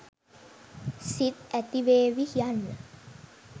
සිත් ඇතිවේවි යන්න